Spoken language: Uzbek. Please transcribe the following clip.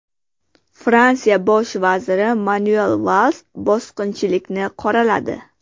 Fransiya bosh vaziri Manuel Vals bosqinchilikni qoraladi.